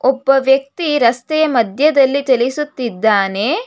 ಒಬ್ಬ ವ್ಯಕ್ತಿ ರಸ್ತೆ ಮಧ್ಯದಲ್ಲಿ ಚಲಿಸುತ್ತಿದ್ದಾನೆ.